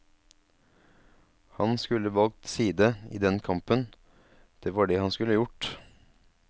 Han skulle valgt side i den kampen, det var det han skulle gjort.